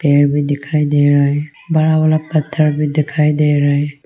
पेड़ भी दिखाई दे रहा है बड़ा बड़ा पत्थर भी दिखाई दे रहा है।